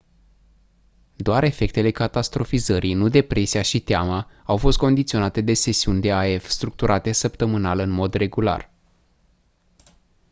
doar efectele catastrofizării nu depresia și teama au fost condiționate de sesiuni de af structurate săptămânal în mod regular